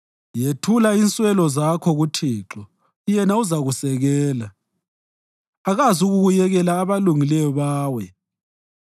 Yethula inswelo zakho kuThixo yena uzakusekela; akazukuyekela abalungileyo bawe.